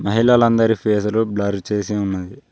మహిళలందరి ఫేసులు బ్లర్ చేసి ఉన్నాయి.